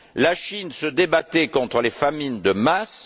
La Chine se débattait contre les famines de masse.